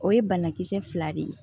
O ye banakisɛ fila de ye